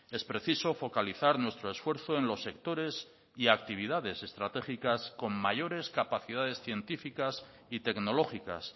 es preciso focalizar nuestro esfuerzo en los sectores y actividades estratégicas con mayores capacidades científicas y tecnológicas